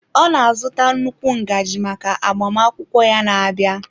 Ọ na-azụta nnukwu ngaji maka agbamakwụkwọ ya na-abịa.